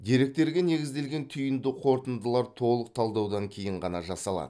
деректерге негізделген түйінді қорытындылар толық талдаудан кейін ғана жасалады